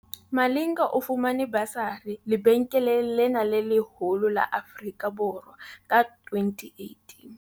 Malinga o fumane basari lebenkeleng lena le leholo la Afrika Borwa ka 2018.